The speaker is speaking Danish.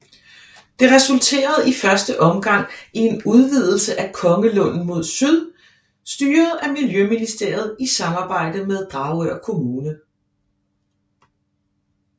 Det resulterede i første omgang i en udvidelse af Kongelunden mod syd styret af Miljøministeriet i samarbejde med Dragør kommune